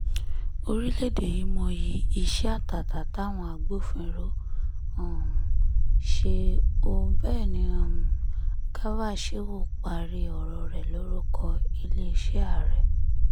orílẹ̀‐èdè yìí mọyì iṣẹ́ àtàtà táwọn agbófinró um ṣe o bẹ́ẹ̀ ni um garba shehu parí ọ̀rọ̀ rẹ̀ lórúkọ iléeṣẹ́ ààrẹ